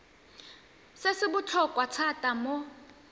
se se botlhokwa thata mo